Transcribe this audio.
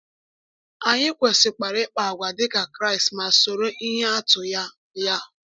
Anyị kwesịkwara ịkpa àgwà dịka Kraịst ma soro ihe atụ ya. ya.